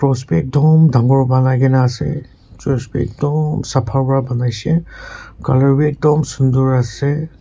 Post bi ekdum dangor bania kena ase church bi ekdom sapha para banai she colour bi ekdom sundor ase.